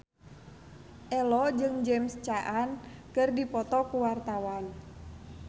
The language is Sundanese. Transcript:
Ello jeung James Caan keur dipoto ku wartawan